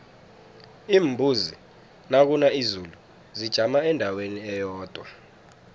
iimbuzi nakuna izulu zijama endaweni eyodwa